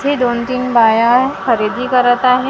इथे दोन तीन बाया खरेदी करत आहेत .